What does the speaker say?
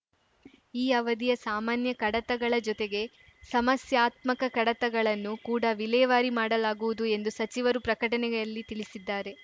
ಈ ಅವಧಿಯ ಸಾಮಾನ್ಯ ಕಡತಗಳ ಜೊತೆಗೆ ಸಮಸ್ಯಾತ್ಮಕ ಕಡತಗಳನ್ನು ಕೂಡಾ ವಿಲೇವಾರಿ ಮಾಡಲಾಗುವುದು ಎಂದು ಸಚಿವರು ಪ್ರಕಟಣೆಯಲ್ಲಿ ತಿಳಿಸಿದ್ದಾರೆ